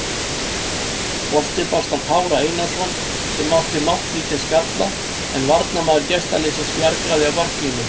Boltinn barst á Kára Einarsson sem átti máttlítinn skalla en varnarmaður gestaliðsins bjargaði á marklínu.